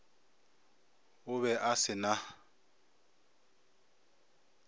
o be a se na